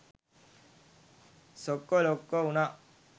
සොක්කො ලොක්කො උනා.